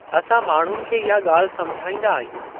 असां माण्हुनि खे इहा ॻाल्हि समझाईंदा आहियूं।